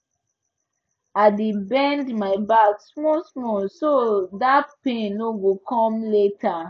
i dey bend my back smallsmall so that pain no go come later